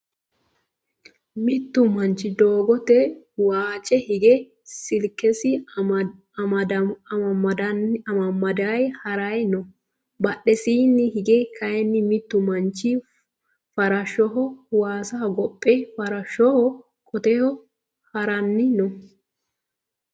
Mittu manchi doogote waccee hige silkesi amammadayi harayi no. Badhesiinni hige kayii mittu manchi farasshoho waasa hogophe farashshoho qoteho harayi no.